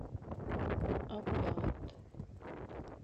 аббат